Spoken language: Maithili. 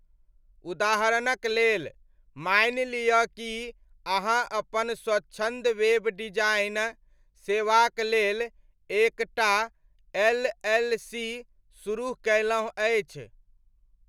उदाहरणक लेल, मानि लिअऽ कि अहाँ अपन स्वच्छन्द वेब डिजाइन सेवाक लेल एक टा एल.एल.सी. सुरुह कयलहुँ अछि।